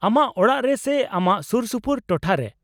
-ᱟᱢᱟᱜ ᱚᱲᱟᱜ ᱨᱮ ᱥᱮ ᱟᱢᱟᱜ ᱥᱩᱨᱥᱩᱯᱩᱨ ᱴᱚᱴᱷᱟ ᱨᱮ ?